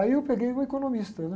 Aí eu peguei um economista, né?